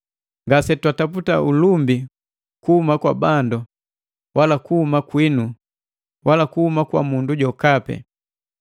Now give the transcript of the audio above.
Ngase twataputa ulumbi kuhuma kwa bandu, wala kuhuma kwinu, wala kuhuma kwa mundu jokapi,